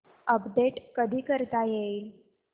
update कधी करता येईल